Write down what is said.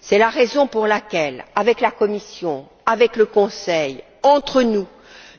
C'est la raison pour laquelle, avec la Commission, avec le Conseil, entre nous,